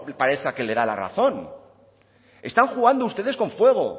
parezca que le da la razón están jugando ustedes con fuego